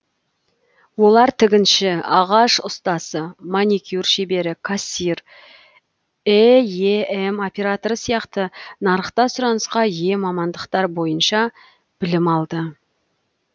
олар тігінші ағаш ұстасы маникюр шебері кассир эем операторы сияқты нарықта сұранысқа ие мамандықтар бойынша білім алды